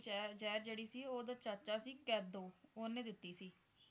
ਜਹਿਰ ਜਹਿਰ ਜਿਹੜੀ ਸੀ ਓਹਦਾ ਚਾਚਾ ਸੀ ਕੈਦੋ ਓਹਨੇ ਦਿੱਤੀ ਸੀ